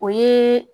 O ye